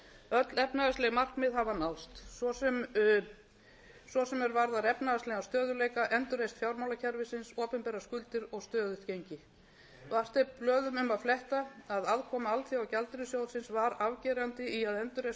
öll efnahagsleg markmið hafa náðst svo sem er varðar efnahagslegan stöðugleika endurreisn fjármálakerfisins opinberar skuldir og stöðugt gengi vart er blöðum um að fletta að aðkoma alþjóðagjaldeyrissjóðinn var afgerandi í að endurreisa traust umheimsins á íslenskt